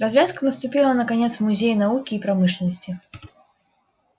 развязка наступила наконец в музее науки и промышленности